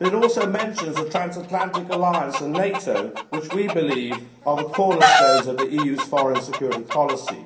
But it also mentions the transatlantic alliance and NATO, which we believe are the cornerstones of the EU's foreign security policy.